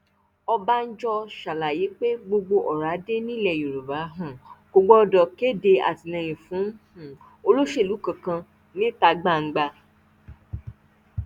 ọbànjọ ṣàlàyé pé gbogbo ọrádé nílẹ yorùbá um kò gbọdọ kéde àtìlẹyìn fún um olóṣèlú kankan níta gbangba